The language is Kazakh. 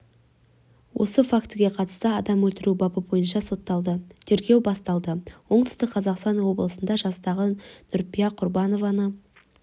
осы фактіге қатысты адам өлтіру бабы бойынша соталды тергеу басталды оңтүстік қазақстан облысында жастағы нүрипа құрбанованы